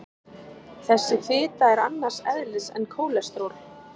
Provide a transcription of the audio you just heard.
Þessi fita er annars eðlis en kólesteról.